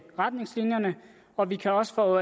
retningslinjerne og vi kan også få